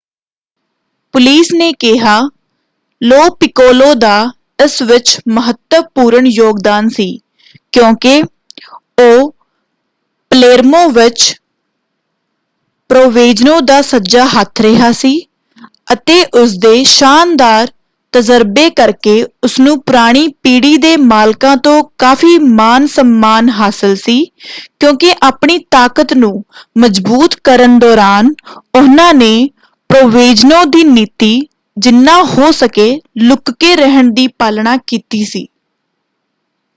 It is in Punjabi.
ਪੁਲਿਸ ਨੇ ਕਿਹਾ ਲੋ ਪਿਕੋਲੋ ਦਾ ਇਸ ਵਿੱਚ ਮਹੱਤਵਪੂਰਨ ਯੋਗਦਾਨ ਸੀ ਕਿਉਂਕਿ ਉਹ ਪਲੇਰਮੋ ਵਿੱਚ ਪ੍ਰੋਵੈਂਜ਼ਨੋ ਦਾ ਸੱਜਾ ਹੱਥ ਰਿਹਾ ਸੀ ਅਤੇ ਉਸਦੇ ਸ਼ਾਨਦਾਰ ਤਜਰਬੇ ਕਰਕੇ ਉਸਨੂੰ ਪੁਰਾਣੀ ਪੀੜ੍ਹੀ ਦੇ ਮਾਲਕਾਂ ਤੋਂ ਕਾਫ਼ੀ ਮਾਨ ਸਮਮਾਨ ਹਾਸਲ ਸੀ ਕਿਉਂਕਿ ਆਪਣੀ ਤਾਕਤ ਨੂੰ ਮਜਬੂਤ ਕਰਨ ਦੌਰਾਨ ਉਹਨਾਂ ਨੇ ਪ੍ਰੋਵੈਂਜ਼ਨੋ ਦੀ ਨੀਤੀ ਜਿਨ੍ਹਾ ਹੋ ਸਕੇ ਲੁੱਕ ਕੇ ਰਹਿਣ ਦੀ ਪਾਲਣਾ ਕੀਤੀ ਸੀ।